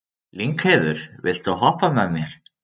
Lyngheiður, viltu hoppa með mér?